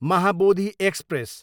Mahabodhi express